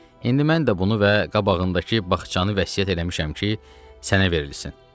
İndi mən də bunu və qabağındakı bağçanı vəsiyyət eləmişəm ki, sənə verilsin.